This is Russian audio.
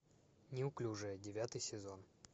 неуклюжая девятый сезон